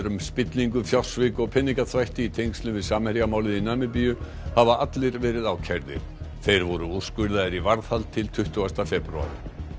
um spillingu fjársvik og peningaþvætti í tengslum við Samherja málið í Namibíu hafa allir verið ákærðir þeir voru úrskurðaðir í varðhald til tuttugasta febrúar